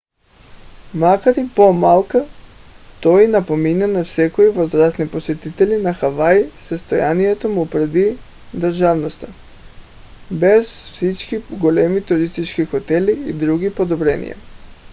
макар и по-малък той напомня на някои възрастни посетители на хавай състоянието му преди държавността без всички големи туристически хотели и други подобрения